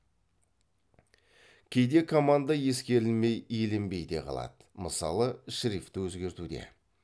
кейде команда ескерілмей еленбей де қалады мысалы шрифті өзгертуде